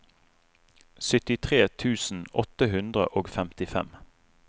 syttitre tusen åtte hundre og femtifem